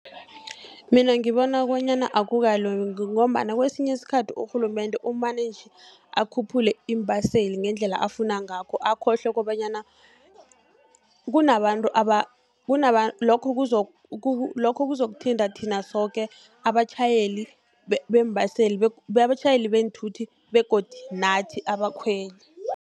Mina ngibona bonyana akukalungi, ngombana kesinye isikhathi urhulumende umane nje akhuphule iimbaseli ngendlela afuna ngakho, akhohlwe kobanyana lokho kuzokuthinta thina soke abatjhayeli beenthuthi begodu nathi abakhweli.